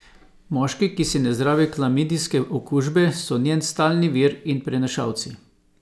Moški, ki si ne zdravijo klamidijske okužbe so njen stalni vir in prenašalci!